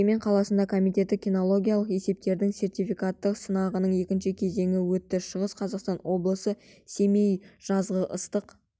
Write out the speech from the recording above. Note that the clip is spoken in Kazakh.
өскемен қаласында комитеті кинологиялық есептерінің сертификаттық сынағының екінші кезеңі өтті шығыс қазақстан облысы семей жазғы ыстық